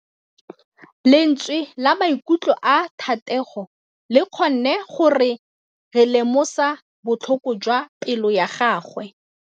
Lentswe la maikutlo a Thategô le kgonne gore re lemosa botlhoko jwa pelô ya gagwe.